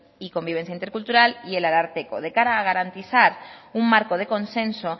y convivencia intercultural y el ararteko de cara a garantizar un marco de consenso